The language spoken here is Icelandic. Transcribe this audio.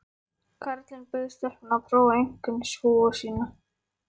Karlinn bauð stelpunni að prófa einkennishúfuna sína.